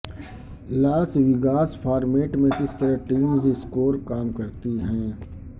لاس Vegas format میں کس طرح ٹیمز اسکور کام کرتی ہیں